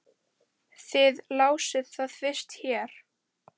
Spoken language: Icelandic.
Þið lásuð það fyrst hér!